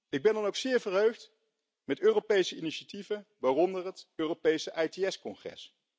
Ik ben dan ook zeer verheugd over Europese initiatieven, waaronder het Europese ITS congres.